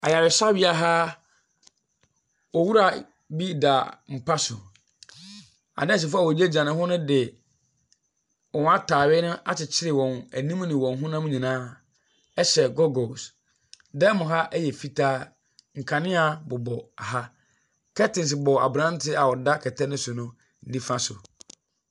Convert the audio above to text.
Ayaresabea ha, owura bi da mpa so. Anursefoɔ a egyinagyina ne ho no de wɔn ataade akyekyere wɔn anim ne wɔn honam nyinaa ɛhyɛ goggles. Dan mu ha ɛyɛ fitaa, nkanea ɛbobɔ ha. Curtains da abranteɛ a ɔda kɛtɛ no so no nifa so.